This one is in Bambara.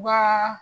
Ba